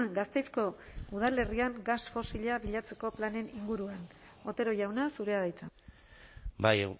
gasteizko udalerrian gas fosila bilatzeko planen inguruan otero jauna zurea da hitza bai